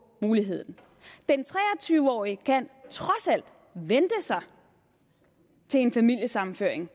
muligheden den tre og tyve årige kan trods alt vente sig til en familiesammenføring